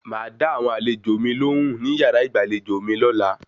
Màá dá àwọn àlejò mi lohùn ní yàrá ìgbàlejò mi lọ́la